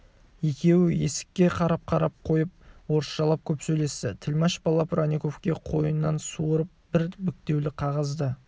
екеуі есікке қарап-қарап қойып орысшалап көп сөйлесті тілмаш бала бронниковке қойнынан суырып бір бүктеулі қағаз да